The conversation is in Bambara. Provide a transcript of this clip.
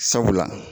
Sabula